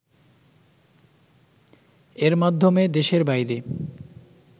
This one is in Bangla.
এর মাধ্যমে দেশের বাইরে